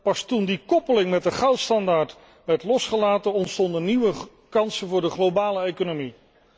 Pas toen de koppeling met de goudstandaard werd losgelaten ontstonden nieuwe kansen voor de globale economie.